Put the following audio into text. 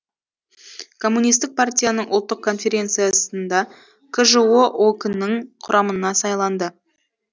коммунистік партияның ұлттық конференциясында кжо ок нің құрамына сайланды